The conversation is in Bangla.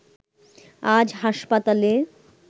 আজ হাসপাতালে